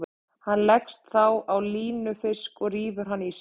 Hann leggst þá á línufisk og rífur hann í sig.